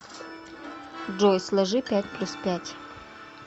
джой сложи пять плюс пять